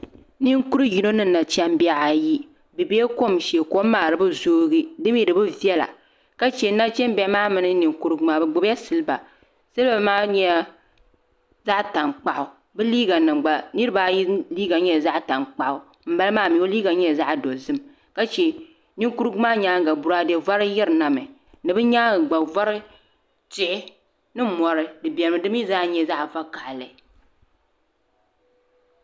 Ninkuri yino ni nachimbi ayi bi biɛla kom shee kom maa di bi zoogi di mii di bi viɛla ka chɛ nachimbihi maa mini ninkurugu maa bi gbubila silba silba maa nyɛla zaɣ tankpaɣu bi liiga nim gba niraba ayi liiga nyɛla zaɣ tankpaɣu ŋunbala maa mii o liiga nyɛla zaɣ dozim ka chɛ ninkurugu maa nyaanga boraadɛ vari yirina mi ni bi nyaangi gba vari tihi ni mori di biɛni di mii zaa nyɛla zaŋ vakaɣali